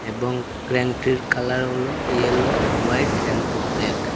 এবং ক্ল্যান টির কালার হল ইয়েলো হোয়াইট এন্ড ব্ল্যাক ।